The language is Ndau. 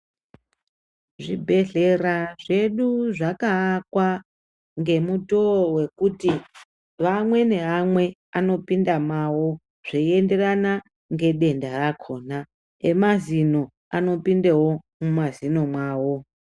Zvibhedhlera zvedu zvakavakwa ngemutowa wekuti vamweni hawo anopinda mawo zveyenderana ngedenda rakhona. Emazino anopindewo mumazino mawo.